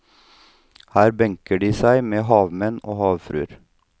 Her benker de seg med havmenn og havfruer.